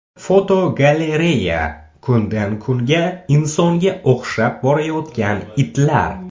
Fotogalereya: Kundan kunga insonga o‘xshab borayotgan itlar.